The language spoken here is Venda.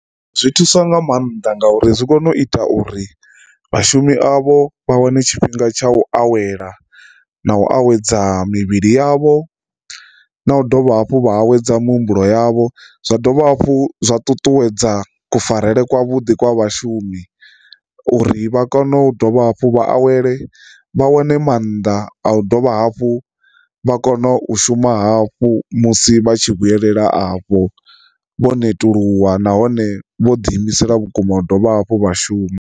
Zwi thusa nga maanḓa ngauri zwi kone u ita uri vhashumi avho vha wane tshifhinga tsha u awela na u awedza mivhili yavho na u dovha hafhu vha awedza muhumbulo yavho. Zwa dovha hafhu zwa ṱuṱuwedza kufarele kwa vhuḓi kwa vhashumi uri vha kone u dovha hafhu vha awele vha wane maanḓa a u dovha hafhu vha kone u shuma hafhu musi vha tshi vhuyelela afho vho netuluwa nahone vho ḓi imisela vhukuma u dovha hafhu vha shuma.